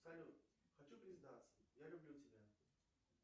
салют хочу признаться я люблю тебя